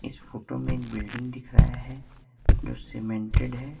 Photo में एक building दिख रहा है जो सीमेंटेड है।